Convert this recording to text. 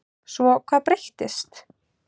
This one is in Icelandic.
Svo hvað breyttist?